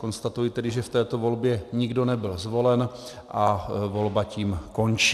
Konstatuji tedy, že v této volbě nikdo nebyl zvolen a volba tím končí.